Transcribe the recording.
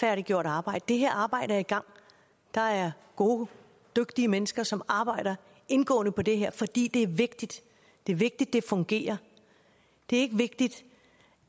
halvgjort arbejde det her arbejde er i gang der er gode dygtige mennesker som arbejder indgående med det her fordi det er vigtigt det er vigtigt det fungerer det er ikke vigtigt